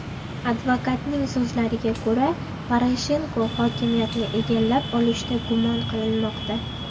Advokatning so‘zlariga ko‘ra, Poroshenko hokimiyatni egallab olishda gumon qilinmoqda.